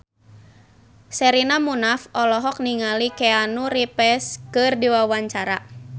Sherina Munaf olohok ningali Keanu Reeves keur diwawancara